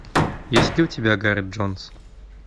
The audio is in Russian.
есть ли у тебя гарет джонс